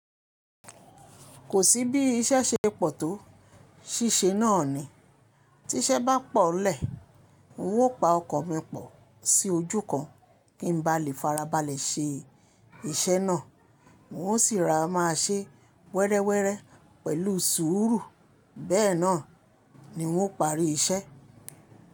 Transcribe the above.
Kò sí bí iṣẹ́ ṣe pọ̀ tó ṣíṣe náà ni. Tí iṣẹ́ bá pọ̀o lẹ́, ó n pa ọkọ̀ mipọ̀ sí ojú kan kí n ba lè farabalẹ̀ ṣe iṣẹ́ náà. N ó sì rora máa ṣe wẹ́rẹ́wẹ́rẹ́ pẹ̀lú sùúrù. Bẹ́ẹ̀ náà ni ń ó parí iṣẹ́.